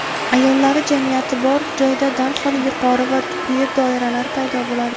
Ayollar jamiyati bor joyda darhol yuqori va quyi doiralar paydo bo‘ladi.